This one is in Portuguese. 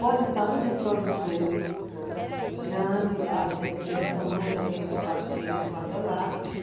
Pode estar um reprodutor grande lá, vai depender do tamanho daquele espaço que ele guarda lá.